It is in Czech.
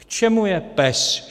K čemu je PES?